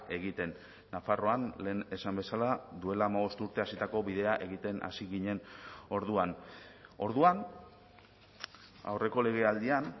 egiten nafarroan lehen esan bezala duela hamabost urte hasitako bidea egiten hasi ginen orduan orduan aurreko legealdian